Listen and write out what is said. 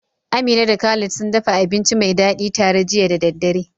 Amina da Khalid sun dafa abinci mai dadi tare jiya da daddare.